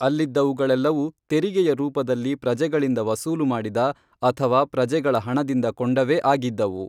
ಅಲ್ಲಿದ್ದವುಗಳೆಲ್ಲವೂ ತೆರಿಗೆಯ ರೂಪದಲ್ಲಿ ಪ್ರಜೆಗಳಿಂದ ವಸೂಲು ಮಾಡಿದ, ಅಥವಾ ಪ್ರಜೆಗಳ ಹಣದಿಂದ ಕೊಂಡವೇ ಆಗಿದ್ದವು